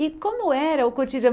E como era o cotidiano?